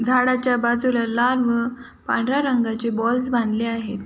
झाडाच्या बाजूला लाल व पांढऱ्या रंगाचे बॉलस बांधले आहेत.